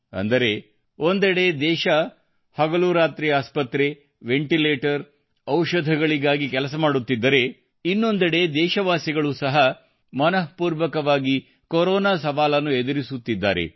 ಅಂದರೆ ಒಂದೆಡೆ ದೇಶವು ಹಗಲುರಾತ್ರಿ ಆಸ್ಪತ್ರೆ ವೆಂಟಿಲೇಟರ್ ಹಾಗೂ ಔಷಧಗಳಿಗಾಗಿ ಕೆಲಸ ಮಾಡುತ್ತಿದ್ದರೆ ಇನ್ನೊಂದೆಡೆ ದೇಶವಾಸಿಗಳು ಸಹ ಮನಃಪೂರ್ವಕವಾಗಿ ಕೊರೋನಾ ಸವಾಲನ್ನು ಎದುರಿಸುತ್ತಿದ್ದಾರೆ